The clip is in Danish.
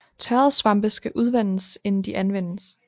Tørrede svampe skal udvandes inden de anvendes